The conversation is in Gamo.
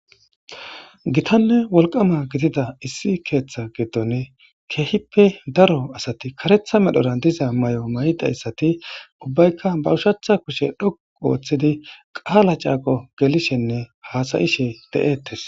Gitanne kehi wolqama keththa giddon daro asati kareththa medhdhora diza mayo maydi ubaykka ba ushshacha kushshe dhoqu oththidi qala caqo gelishenne asayishshe dettes.